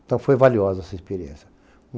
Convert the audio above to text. Então foi valiosa essa experiência.